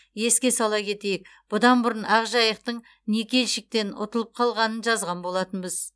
еске сала кетейік бұдан бұрын ақжайықтың никельщиктен ұтылып қалғанын жазған болатынбыз